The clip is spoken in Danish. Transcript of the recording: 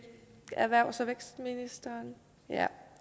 erhvervs og vækstministeren